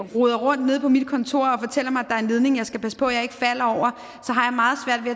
roder rundt nede på mit kontor og er en ledning jeg skal passe på ikke at falde over